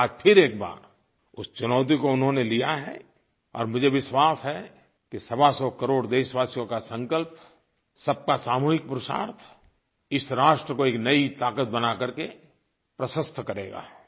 आज फिर एक बार उस चुनौती को उन्होंने लिया है और मुझे विश्वास है कि सवासौ करोड़ देशवासियों का संकल्प सबका सामूहिक पुरुषार्थ इस राष्ट्र को एक नई ताक़त बना करके प्रशस्त करेगा